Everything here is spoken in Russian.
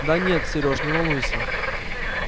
да нет сережа не волнуйся